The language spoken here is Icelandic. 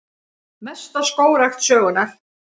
Mesta skógrækt sögunnar